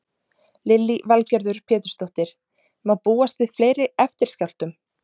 Lillý Valgerður Pétursdóttir: Má búast við fleiri eftirskjálftum?